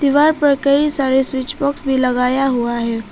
दीवार पर कई सारे स्विच बॉक्स भी लगाया हुआ है।